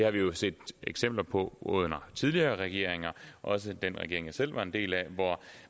har jo set eksempler på under tidligere regeringer også den regering jeg selv var en del af at